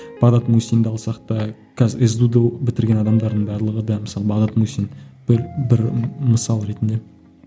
бағдат мусинді алсақ та қазір сду ды бітірген адамдардың барлығы да мысалы бағдат мусин бір бір мысал ретінде